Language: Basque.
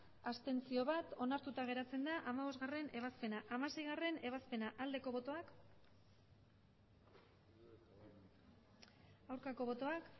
abstentzioak bat onartuta geratzen da hamabostgarrena ebazpena hamaseigarrena ebazpena aldeko botoak aurkako botoak